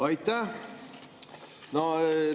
Aitäh!